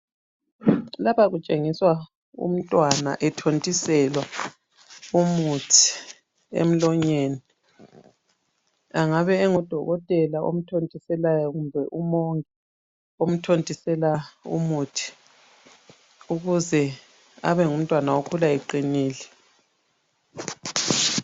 Lapha kutshengiswa umntwana ethontiselwa umuthi emlonyeni. Angabe engudokotela omthontiselayo kumbe umongi omthontisela umuthi ukuze abengumntwana okhula iqinile.